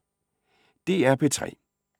DR P3